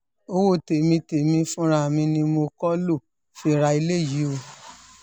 owó tèmi tèmi fúnra mi ni mo kọ́ lóo fi ra eléyìí o